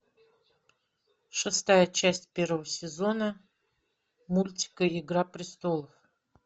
шестая часть первого сезона мультика игра престолов